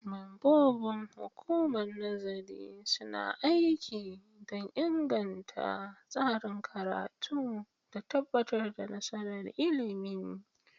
Membobin Hukumar Nazarin suna aiki don inganta tsarin karatu da tabbatar da nasarar ilimi.